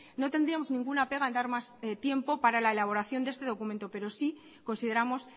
no tendríamos ninguna pega en dar más tiempo para elaboración de este documento pero sí consideramos